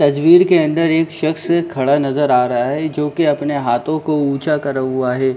तस्वीर के अंदर एक शख़्स खड़ा नज़र आ रहा है जो की अपने हाथों को ऊँचा करा हुआ है।